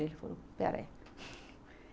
Ele falou, espera aí.